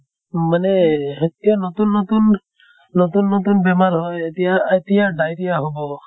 মানে এতিয়া নতুন নতুন নিতুন নতুন বেমাৰ হয় এতিয়া এতিয়া diarrhea হʼব